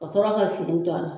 Ka sɔrɔ ka se in to a la